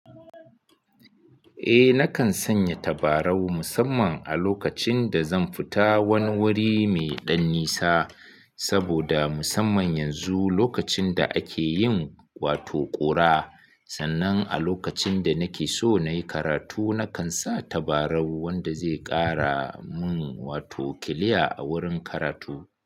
Eh, nakan sanya tabarau musamman a lokacin da zan fita wani wuri mai ɗan nisa. Saboda musamman yanzu lokacin da ake yin wato ƙura, sannan a lokacin da nake so na yi karatu, nakan sa tabarau wanda zai ƙara mun wato kiliya a wurin karatu.